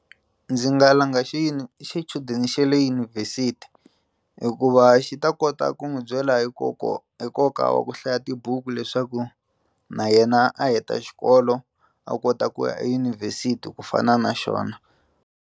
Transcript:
Ndzi nga langa xichudeni xa le yunivhesiti hikuva xi ta kota ku n'wi byela hi konka hi nkoka wa ku hlaya tibuku leswaku na yena a heta xikolo a kota ku ya eyunivhesiti ku fana na xona.